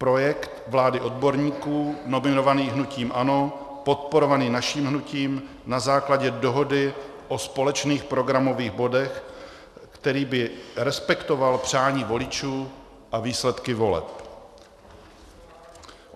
Projekt vlády odborníků nominovaných hnutím ANO, podporovaný naším hnutím na základě dohody o společných programových bodech, který by respektoval přání voličů a výsledky voleb.